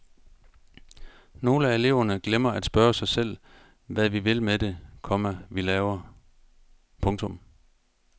Nogle af eleverne glemmer at spørge sig selv hvad vi vil med det, komma vi laver. punktum